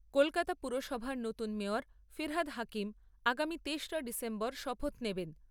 কলকাতা পুরসভার নতুন মেয়র ফিরহাদ হাকিম আগামী তেসরা ডিসেম্বর শপথ নেবেন।